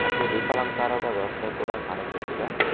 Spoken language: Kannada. ಮತ್ತು ದೀಪಲಂಕಾರದ ವ್ಯವಸ್ಥೆ ಕೂಡ ಕಾಣಿಸುತ್ತಿದೆ.